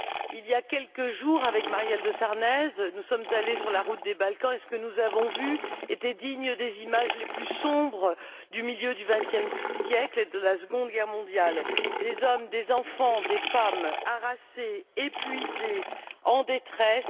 Il y a quelques jours, avec Marielle de Sarnez, nous sommes allées sur la route des Balkans et ce que nous avons vu était digne des images les plus sombres du milieu du vingtième siècle et de la Seconde Guerre mondiale, à savoir des hommes, des enfants, des femmes harassés, épuisés, en détresse.